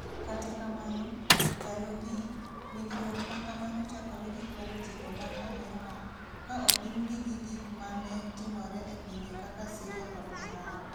Kata kamano, ndalogi, winjruok ma kamano chakore gi kwedo chike mag Amerka, ka opimgi gi gik ma ne timore e pinje kaka Syria kod Iran.